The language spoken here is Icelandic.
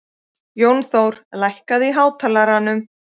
Jónþór, lækkaðu í hátalaranum.